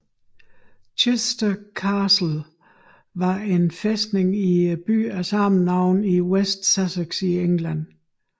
Chichester Castle var en fæstning i byen af samme navn i West Sussex i England